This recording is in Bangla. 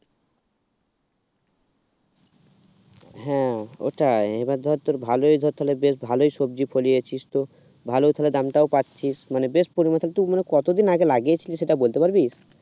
হ্যাঁ এটাই এবার ধর তোর ভালোই ধর তাহলে বেশ ভালোই সবজি ফোলিয়েছিস তো ভালো তাহলে দামটাও পাচ্ছি মানে বেশ বাঁধাকপি গুলো কতদিন আগে লাগিয়েছিলি সেটা বলতে পারবি